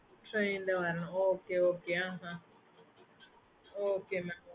okay mam